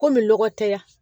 Komi lɔgɔtɛya